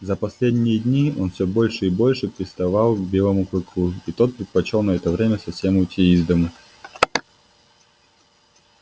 за последние дни он всё больше и больше приставал к белому клыку и тот предпочёл на это время совсем уйти из дому